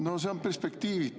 No see on perspektiivitu.